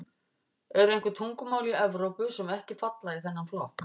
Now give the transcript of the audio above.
Eru einhver tungumál í Evrópu sem ekki falla í þennan flokk?